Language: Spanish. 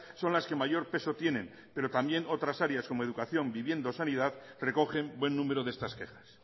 son las que mayor peso tienen pero también otras áreas como educación vivienda o sanidad recogen buen número de estas quejas